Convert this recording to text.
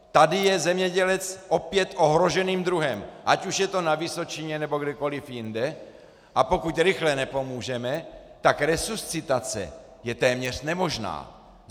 Tady je zemědělec opět ohroženým druhem, ať už je to na Vysočině, nebo kdekoliv jinde, a pokud rychle nepomůžeme, tak resuscitace je téměř nemožná.